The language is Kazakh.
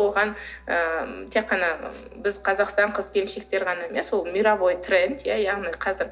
оған ы тек қана біз қазақстан қыз келіншектері ғана емес ол мировой тренд иә яғни қазір